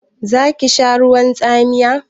Zaki sha ruwan tsamiya?